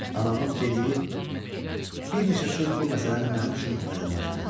Anamın dediyi bir neçə söz bu məsələni mənim üçün aydınlaşdırdı.